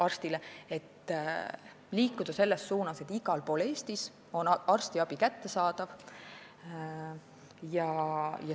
Tuleb liikuda selles suunas, et igal pool Eestis oleks arstiabi kättesaadav.